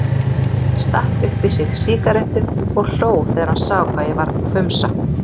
Stakk upp í sig sígarettu og hló þegar hann sá hvað ég varð hvumsa.